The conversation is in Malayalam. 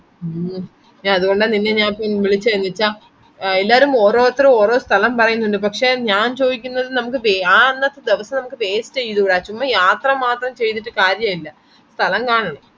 ഹ്മ്മ്‌ അതെ അതെ അതെ